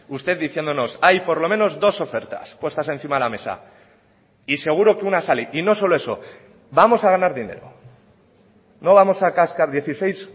usted diciéndonos hay por lo menos dos ofertas puestas encima de la mesa y seguro que una sale y no solo eso vamos a ganar dinero no vamos a cascar dieciséis